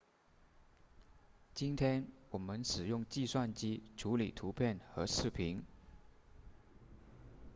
今天我们使用计算机处理图片和视频